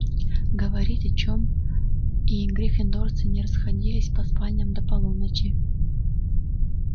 говорить о чём и гриффиндорцы не расходились по спальням до полуночи